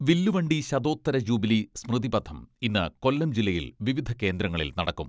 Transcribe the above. വില്ലുവണ്ടി ശതോത്തര ജൂബിലി സ്മൃതിപഥം ഇന്ന് കൊല്ലം ജില്ലയിൽ വിവിധ കേന്ദ്രങ്ങളിൽ നടക്കും.